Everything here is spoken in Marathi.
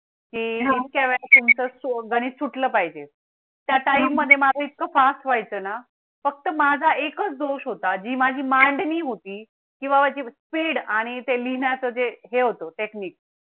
गणित सुटलं पाहिजे. त्या Time मध्ये माझ्या इतकं fast व्हाय चं ना फक्त माझा एकच दोष होता जी माझी मांडणी होती किंवा जी Speed आणि ते लिहिण्याचं जे हे होतो technique